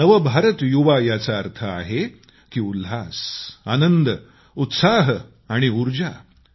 नव भारत युवा याचा अर्थ आहे की आनंद उत्साह आणि ऊर्जा